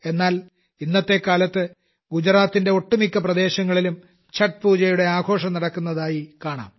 എന്നാൽ ഇന്നത്തെ കാലത്ത് ഗുജറാത്തിന്റെ ഒട്ടുമിക്ക പ്രദേശങ്ങളിലും ഛഠ് പൂജയുടെ ആഘോഷം നടക്കുന്നതായി കാണാം